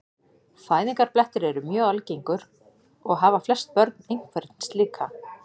Fæðingarblettir eru mjög algengir og hafa flest börn einhvern slíkan.